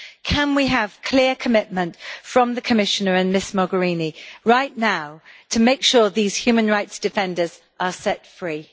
Can we have clear commitment from the Commissioner and Ms Mogherini right now to make sure these human rights defenders are set free?